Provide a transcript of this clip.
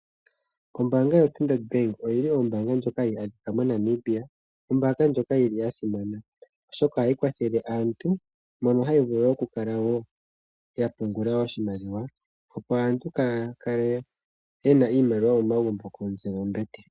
Ombaanga yoStandard Bank oyili ombaanga ndjoka hayi adhika moNamibia ombaanga ndjoka yili yasimana oshoka ohayi kwathele aantu, mono hayi vulu okukala woo yapungula oshimaliwa opo aantu kaaya kale yena iimaliwa momagumbo komitse dhombete.